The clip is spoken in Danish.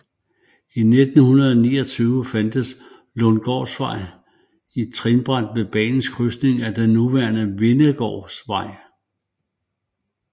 Og fra 1929 fandtes Lundsgårdsvej trinbræt ved banens krydsning af den nuværende Vindegårdsvej